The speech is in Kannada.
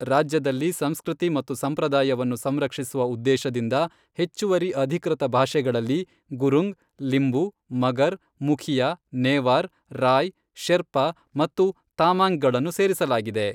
ರಾಜ್ಯದಲ್ಲಿ ಸಂಸ್ಕೃತಿ ಮತ್ತು ಸಂಪ್ರದಾಯವನ್ನು ಸಂರಕ್ಷಿಸುವ ಉದ್ದೇಶದಿಂದ ಹೆಚ್ಚುವರಿ ಅಧಿಕೃತ ಭಾಷೆಗಳಲ್ಲಿ ಗುರುಂಗ್, ಲಿಂಬು, ಮಗರ್, ಮುಖಿಯಾ, ನೇವಾರ್, ರಾಯ್, ಶೆರ್ಪಾ ಮತ್ತು ತಾಮಾಂಙ್ಗಳನ್ನು ಸೇರಿಸಲಾಗಿದೆ.